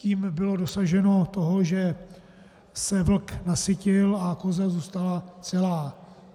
Tím bylo dosaženo toho, že se vlk nasytil a koza zůstala celá.